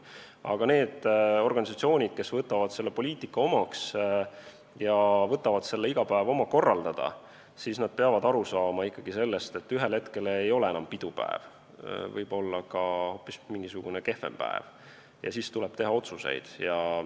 Aga need organisatsioonid, kes võtavad selle poliitika omaks ja asuvad iga päev seda korraldama, peavad aru saama ikkagi sellest, et ühel hetkel ei ole enam pidupäev, võib-olla tuleb hoopis mingisugune kehvem päev, ja siis tuleb teha otsuseid.